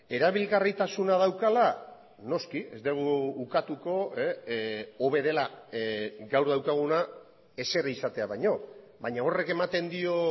erabilgarritasuna daukala noski ez dugu ukatuko hobe dela gaur daukaguna ezer izatea baino baina horrek ematen dio